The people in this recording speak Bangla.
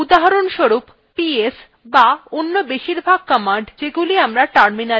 উদাহরণস্বরূপps ps অন্য বেশিরভাগ commands যেগুলি আমরা terminal চালাই